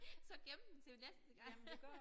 Så gemme den til næste gang